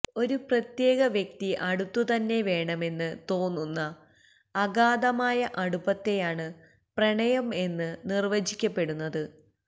ഒരു പ്രത്യേക വ്യക്തി അടുത്ത് തന്നെ വേണമെന്ന് തോന്നുന്ന അഗാധമായ അടുപ്പത്തെയാണ് പ്രണയം എന്ന് നിർവ്വചിക്കപ്പെടുന്നത്